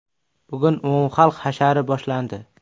Bugun umumxalq hashari boshlandi.